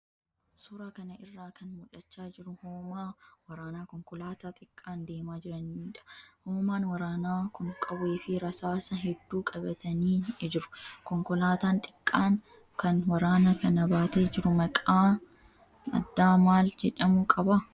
Suuraa kana irraa kan mul'achaa jiru hoomaa waraanaa konkolaataa xiqqaan deemaa jiraniidha. Hoomaan waraanaa kun qawwee fi rasaasa hedduu qabatanii jiru. Konkolaataan xiqqaan kan waraana kana baatee jiru maqaa addaa maal jedhamu qaba?